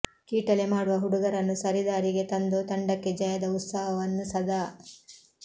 ಕೀಟಲೆ ಮಾಡುವ ಹುಡುಗರನ್ನು ಸರಿದಾರಿಗೆ ತಂದು ತಂಡಕ್ಕೆ ಜಯದ ಉತ್ಸಾಹವನ್ನು ಸದಾ